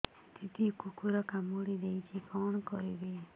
ଦିଦି କୁକୁର କାମୁଡି ଦେଇଛି କଣ କରିବି